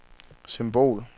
symbol